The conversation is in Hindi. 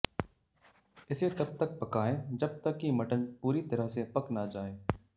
इसे तब तक पकाएं जब तक कि मटन पूरी तरह से पक ना जाए